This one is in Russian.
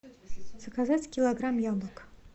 заказать килограмм яблок